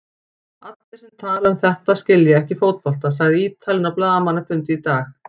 Allir sem tala um þetta skilja ekki fótbolta, sagði Ítalinn á blaðamannafundi í dag.